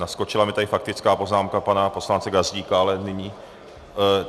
Naskočila mi tady faktická poznámka pana poslance Gazdíka, ale nyní...